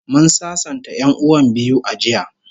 Mun sasanta 'yan'uwan biyu a jiya